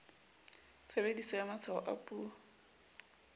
tshebediso ya matshwao a puo